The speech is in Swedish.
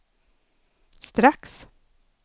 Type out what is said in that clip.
strax